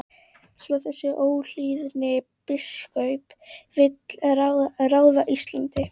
Svo þessi óhlýðni biskup vill ráða Íslandi?